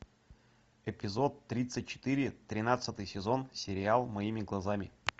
эпизод тридцать четыре тринадцатый сезон сериал моими глазами